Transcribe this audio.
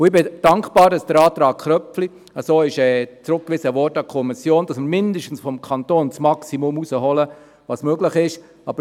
Ich bin dankbar, dass der Antrag Köpfli so in die Kommission zurückgewiesen wurde, dass wir mindestens seitens des Kantons das Maximum, das möglich ist, herausholen.